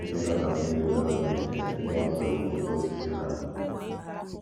Ekwela ka mmiri dọrọ n’ite ndị a kụrụ okooko osisi na ha.